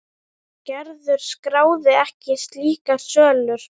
Gerður skráði ekki slíkar sölur.